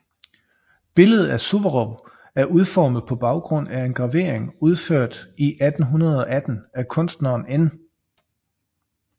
Billedet af Suvorov er udformet på baggrund af en gravering udført i 1818 af kunstneren N